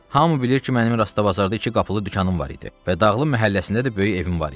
Hamı bilir ki, mənim Rastabazarda iki qapılı dükanım var idi və Dağlı məhəlləsində də böyük evim var idi.